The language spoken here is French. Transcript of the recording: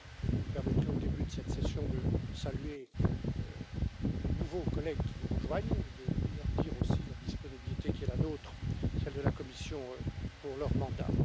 Vous me permettrez, au début de cette session, de saluer les nouveaux collègues qui vous rejoignent et de leur dire, aussi, la disponibilité qui est la nôtre, celle de la Commission, pour leur mandat.